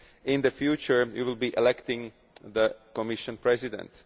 In the future you will be electing the Commission President.